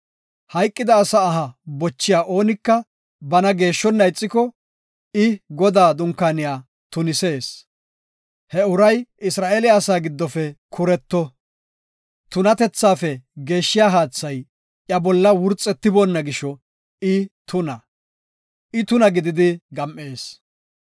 Hayqida asa aha bochiya oonika bana geeshshonna ixiko I Godaa dunkaaniya tunisees; he uray Isra7eele asaa giddofe kuretto. Tunatethaafe geeshshiya haathay iya bolla wurxetiboona gisho I tuna; I tuna gididi gam7ees.